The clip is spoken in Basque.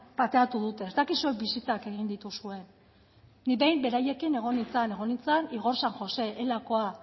pateatu dute ez dakit zuek bisitak egin dituzuen nik behin beraiekin egon nintzen egon nintzen igor san josé ela koa